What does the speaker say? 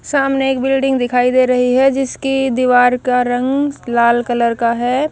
सामने एक बिल्डिंग दिखाई दे रही है जिसकी दीवार का रंग लाल कलर का है।